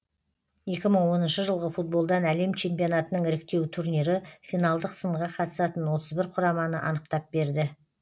екі мың оныншы жылғы футболдан әлем чемпионатының іріктеу турнирі финалдық сынға қатысатын отыз бір құраманы анықтап берді